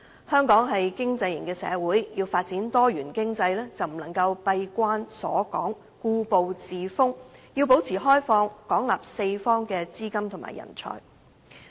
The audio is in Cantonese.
香港是經濟型社會，要發展多元經濟，就不能夠閉關鎖港，故步自封，要保持開放，廣納四方資金及人才。